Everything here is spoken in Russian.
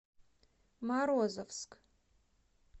морозовск